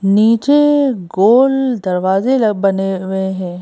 नीचे गोल दरवाजे बने हुए हैं।